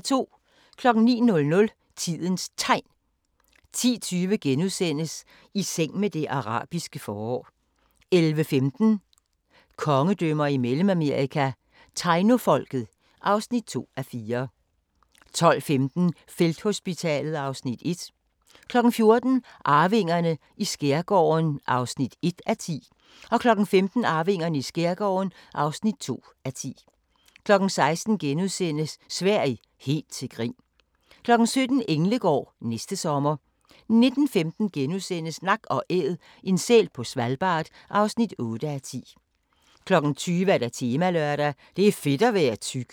09:00: Tidens Tegn 10:20: I seng med det arabiske forår * 11:15: Kongedømmer i Mellemamerika – Tainofolket (2:4) 12:15: Felthospitalet (Afs. 1) 14:00: Arvingerne i skærgården (1:10) 15:00: Arvingerne i skærgården (2:10) 16:00: Sverige – helt til grin! * 17:00: Englegård – næste sommer 19:15: Nak & Æd – en sæl på Svalbard (8:10)* 20:00: Temalørdag: Det er fedt at være tyk